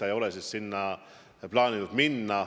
Jutt on vist peamiselt kahest välislähetusest.